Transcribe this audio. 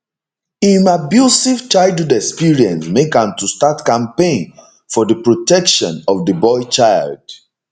im abusive childhood experience make am to start campaign for di protection of di boy child